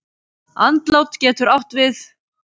Andlát getur átt við